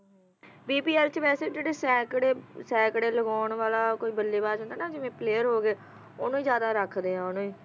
bpl ਚ ਵੈਸੇ ਜਿਹੜੇ ਸੈਂਕੜੇ ਸੈਂਕੜੇ ਲਗਾਉਣ ਵਾਲਾ ਕੋਈ ਬੱਲੇਬਾਜ ਹੁੰਦਾ ਹੈ ਨਾ ਜਿਵੇਂ player ਹੋ ਗਿਆ ਓਹਨੂੰ ਹੀ ਜਿਆਦਾ ਰੱਖਦੇ ਨੇ ਓਹਨੂੰ